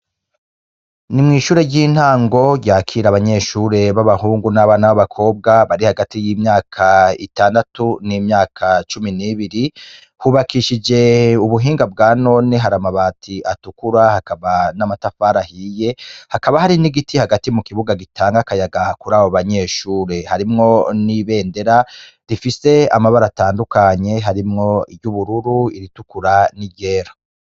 Ni mw'ishure ry'intango ryakira abanyeshure b'abahungu n'abana b'abakobwa bari hagati y'imyaka itandatu n'imyaka cumi n'ibiri, hubakishije ubuhinga bwa none, hari amabati atukura, hakaba n'amatafari ahiye, hakaba hari n'igiti hagati mu kibuga gitanga akayaga kuri abo banyeshure, harimwo n'ibendera rifise amabara atandukanye, harimwo iry'ubururu, iritukura, n'iryera.